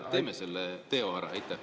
Teeme selle teo ära!